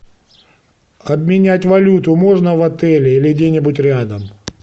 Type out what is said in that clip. обменять валюту можно в отеле или где нибудь рядом